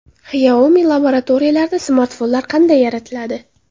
Xiaomi laboratoriyalarida smartfonlar qanday yaratiladi?